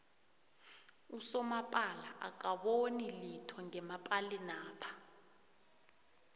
usomapala akaboni litho ngemapalinapha